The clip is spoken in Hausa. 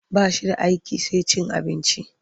Ba shi da aiki sai cin abinci.